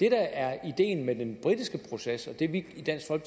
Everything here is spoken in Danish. er ideen med den britiske proces og det vi i dansk